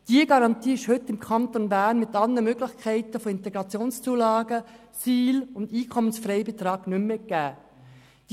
Diese Garantie ist heute im Kanton Bern mit allen Möglichkeiten von IZU, Situationsbedingten Leistungen und EFB nicht mehr gegeben.